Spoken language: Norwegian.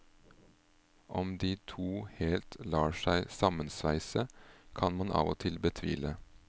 Om de to helt lar seg sammensveise, kan man av og til betvile.